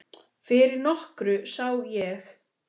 Fyrir nokkru sá ég